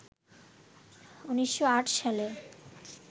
১৯০৮ সালে